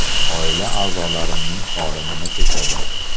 Oila a’zolarimning holi nima kechadi?